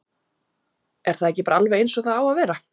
Er það ekki bara alveg eins og það á að vera?